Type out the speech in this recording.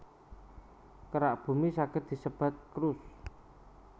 Kerak Bumi saged disebat crust